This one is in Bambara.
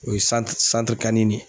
O ye